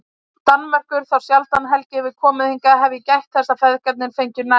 Danmerkur, þá sjaldan Helgi hefur komið hingað hef ég gætt þess að feðgarnir fengju næði.